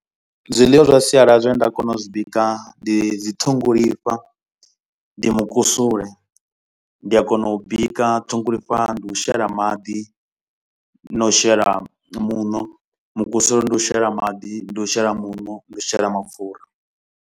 Zwiḽiwa zwa sialala zwine nda kona u zwi bika ndi dzi ṱhongolifha, ndi mukusule, ndi a kona u u bika, ṱhongolifha ndi u shela maḓi na u shela muṋo. Mukusule ndi u shela maḓi, ndi u shela muṋo, ndi u shela mapfura.